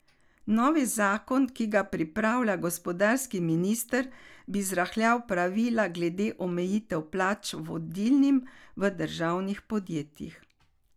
Novi zakon, ki ga pripravlja gospodarski minister, bi zrahljal pravila glede omejitev plač vodilnim v državnih podjetjih.